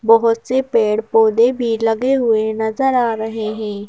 बहुत से पेड़-पौधे भी लगे हुए नजर आ रहे हैं।